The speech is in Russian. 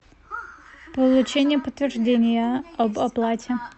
получение подтверждения об оплате